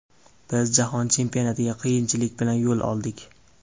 Biz Jahon Chempionatiga qiyinchilik bilan yo‘l oldik.